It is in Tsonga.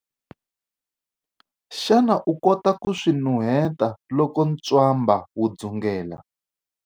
Xana u kota ku swi nuheta loko ntswamba wu dzungela?